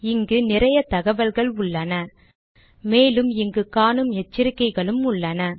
இங்கு நிறைய தகவல்கள் உள்ளன மேலும் இங்கு காணும் எச்சரிக்கைகளும் உள்ளன